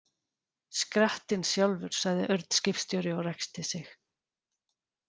Skrattinn sjálfur, sagði Örn skipstjóri og ræskti sig.